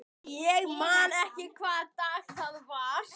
Ég man ekki nákvæmlega hvaða dag það var.